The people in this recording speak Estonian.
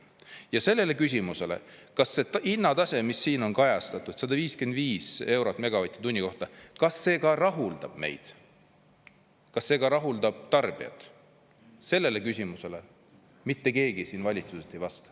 Ja sellele küsimusele, kas see hinnatase, mis siin on kajastatud, 155 eurot megavatt-tunni kohta, kas see ka rahuldab meid, kas see rahuldab tarbijat, sellele küsimusele mitte keegi valitsuses ei vasta.